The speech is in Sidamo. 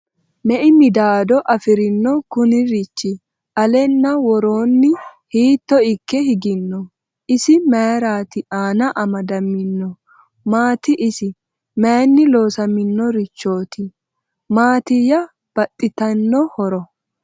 Mei middado afirinno kunirichi? Alenna woroonni hitto ikke higinno? Isi mayiira Anna amadaminno? Maati isi? Mayiinni loosaminnorichootti ? Maattiya baxittinno horo?